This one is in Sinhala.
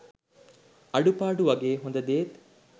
අඩුපාඩු වගේම හොඳදේත්